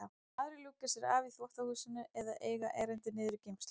Aðrir ljúka sér af í þvottahúsinu eða eiga erindi niður í geymslu.